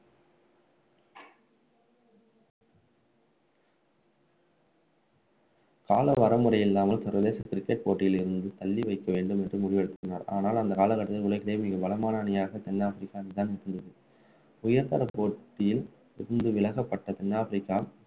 கால வரைமுறை இல்லாமல் சர்வதேச cricket போட்டியில் இருந்து தள்ளி வைக்க வேண்டும் என்றும் முடிவெழுப்பினார் ஆனால் அந்த கால கட்டத்தில் உலகிலேயே மிக பலமான அணியாக தென் ஆப்பிரிக்கா இருந்தது உயர்தர போட்டியில் இருந்து விலக்கப்பட்ட தென் ஆப்பிரிக்கா